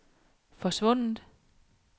forsvundet